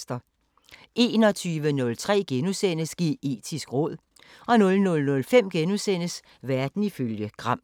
21:03: Geetisk råd * 00:05: Verden ifølge Gram *